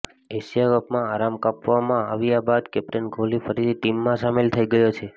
Asia કપમાં આરામ આપવામાં આવ્યા બાદ કેપ્ટન કોહલી ફરીથી ટીમમાં સામેલ થઈ ગયો છે